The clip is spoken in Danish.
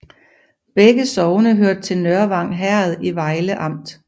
Begge sogne hørte til Nørvang Herred i Vejle Amt